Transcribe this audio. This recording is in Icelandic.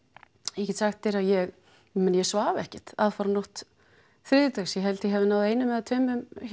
ég get sagt þér að ég ég svaf ekkert aðfararnótt þriðjudags ég held ég hafi náð einum eða tveim